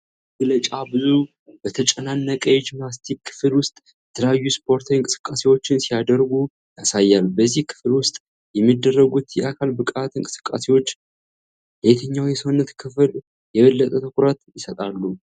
መግለጫ ብዙ ሰዎች በተጨናነቀ የጂምናስቲክ ክፍል ውስጥ የተለያዩ ስፖርታዊ እንቅስቃሴዎችን ሲያደርጉ ያሳያል። በዚህ ክፍል ውስጥ የሚደረጉት የአካል ብቃት እንቅስቃሴዎች ለየትኛው የሰውነት ክፍል የበለጠ ትኩረት ይሰጣሉ?